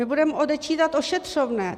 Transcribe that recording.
My budeme odečítat ošetřovné.